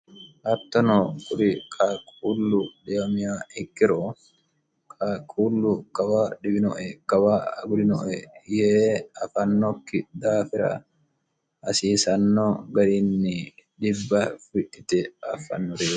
hattono kuri kakullu deomy ikkiro kakuullu kawa dhiwinoe kawa agulinoe yee afannokki daafira hasiisanno garinni dhibba fidhite affannori